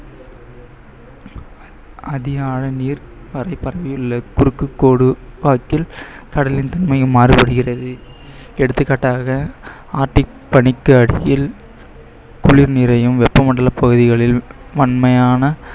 அதிக ஆழ நீர் குறுக்கு கோடு வாக்கில் கடலின் தன்மையும் மாறுபடுகிறது. எடுத்துக்காட்டாக ஆர்டிக் பனிக்கு அடியில் குளிர் நீரையும் வெப்ப மண்டல பகுதிகளில் வன்மையான